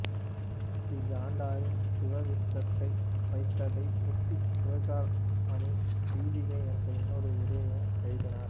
ஸ்ரீகண்டரின் சிவவிசிஷ்டாத்வைதத்தை ஒட்டி சிவார்க்கமணி தீபிகை என்ற இன்னொரு உரையையும் எழுதினார்